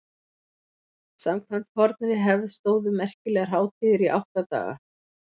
samkvæmt fornri hefð stóðu merkilegar hátíðir í átta daga